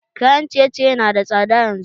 Kayan ciye ciye na da tsada yanzu